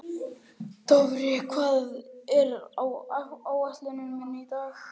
Dofri, hvað er á áætluninni minni í dag?